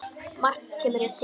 Margt kemur hér til.